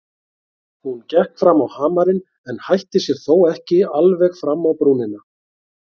Hún gekk fram á hamarinn en hætti sér þó ekki alveg fram á brúnina.